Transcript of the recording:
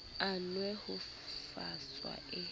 a nwe ho faswa e